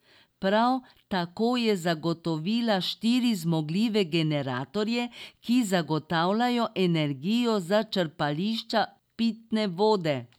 Prav tako je zagotovila štiri zmogljive generatorje, ki zagotavljajo energijo za črpališča pitne vode.